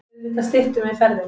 Auðvitað styttum við ferðina.